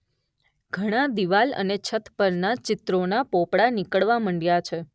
ઘણા દિવાલ અને છત પરના ચિત્રોના પોપડા નીકળવા મંડ્યા છે.